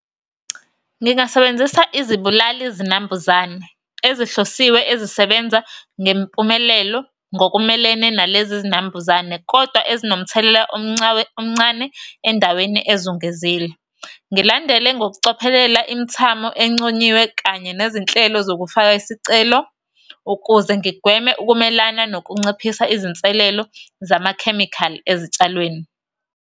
Ngingasebenzisa izibulali zinambuzane ezihlosiwe ezisebenza ngempumelelo ngokumelene nalezi zinambuzane kodwa ezinomthelela omncawe omncane endaweni ezungezile. Ngilandele ngokucophelela imithamo enconyiwe kanye nezinhlelo zokufaka isicelo ukuze ngigweme ukumelana nokunciphisa izinselelo zamakhemikhali ezitshalweni.